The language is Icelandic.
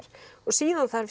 síðan þarf